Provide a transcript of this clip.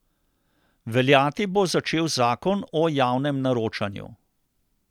Veljati bo začel zakon o javnem naročanju.